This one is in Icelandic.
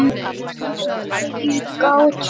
spurði ég gáttuð.